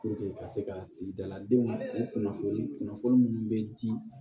ka se ka sigidala denw u kunnafoni kunnafoni minnu bɛ di